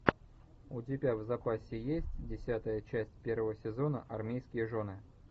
у тебя в запасе есть десятая часть первого сезона армейские жены